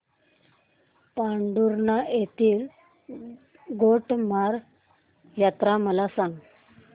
पांढुर्णा येथील गोटमार यात्रा मला सांग